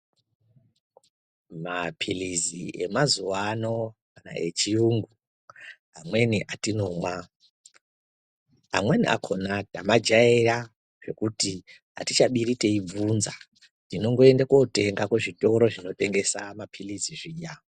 Maphilizi emazuwano, echiyungu, amweni atinomwa, amweni akhona tamajayira zvekuti atichabiri teyibvunza. Tinongoyenda kotenga kuzvitoro zvinotengesa maphilizi zviya.